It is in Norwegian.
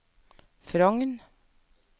Frogn